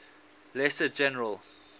lesser general